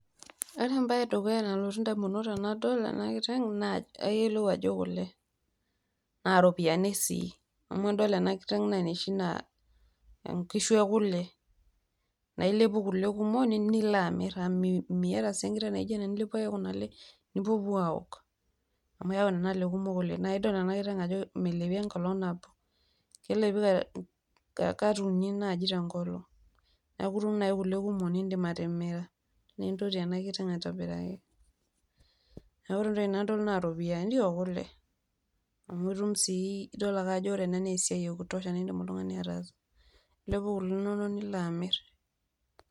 Ore embaye edukuya nalotu indamunot tenadol ena kiteng naa ayiolou ajo kule naa ropiyiani sii amu tenadol ena kiteng naa inoshi naa inkishu ekule nailepu kule kumok lino amir amu miata sii enkiteng naaijio ena nipuopuo aaok amu keeku nena le kumok oleng ,naa idol ena kiteng ajo melepi enkolong nabo kelepi kat uni naaji tenkolong neeku itum naaji kule kumok nindiim atimira niintoti ena kiteng aitobiraki neeku ore entoki nadol naa iropiyiani oo kule amu eitum sii idol ake ajo ore ena naa esiai ekutosha naaidim oltung'ani ataasa ilepu kule inonok nilo aamir.